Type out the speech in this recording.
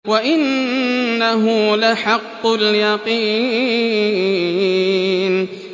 وَإِنَّهُ لَحَقُّ الْيَقِينِ